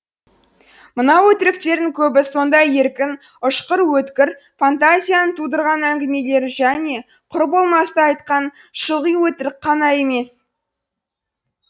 мынау өтіріктердің көбі сондай еркін ұшқыр өткір фантазияның тудырған әңгімелері және құр болмасты айтқан шылғи өтірік қана емес